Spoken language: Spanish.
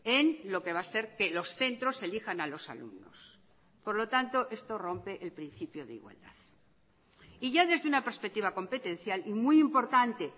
en lo que va a ser que los centros elijan a los alumnos por lo tanto esto rompe el principio de igualdad y ya desde una perspectiva competencial y muy importante